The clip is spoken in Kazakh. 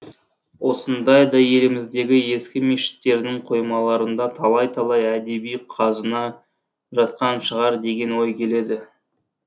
осындайда еліміздегі ескі мешіттердің қоймаларында талай талай әдеби қазына жатқан шығар деген ой келеді